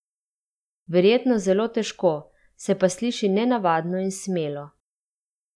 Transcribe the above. Verjetno zelo težko, se pa sliši nenavadno in smelo.